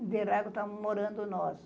Interlagos estávamos morando nós.